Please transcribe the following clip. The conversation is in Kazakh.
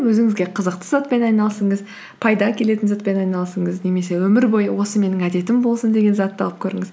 өзіңізге қызықты затпен айналысыңыз пайда әкелетін затпен айналысыңыз немесе өмір бойы осы менің әдетім болсын деген затты алып көріңіз